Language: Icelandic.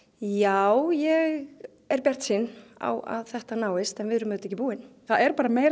já ég er bjartsýn á að þetta náist en við erum auðvitað ekki búin það er bara meira